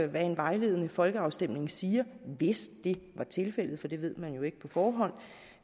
hvad en vejledende folkeafstemning siger hvis det var tilfældet for det ved man jo ikke på forhånd